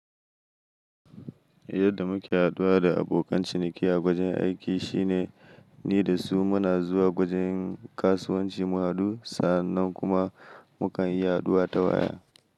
Yadda muke haɗuwa da abokan ciniki a wajan aiki shine ni da su muna zuwa gwajin kasuwanci mu haɗu sannan kuma mukan yi haɗuwa ta waya.